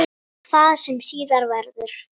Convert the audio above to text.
Hvað sem síðar verður.